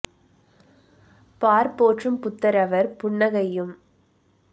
பார்போற்றும் புத்தரவர் புன்ன கையும்